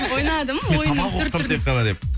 ойнадым ойынның түр түрін